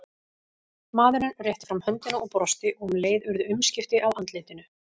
Maðurinn rétti fram höndina og brosti og um leið urðu umskipti á andlitinu.